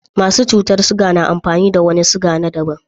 Masu cutar ciga na amfani da wani ciga na daban.